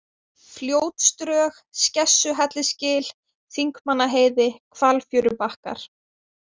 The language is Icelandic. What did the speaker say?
Fljótsdrög, Skessuhellisgil, Þingmannaheiði, Hvalfjörubakkar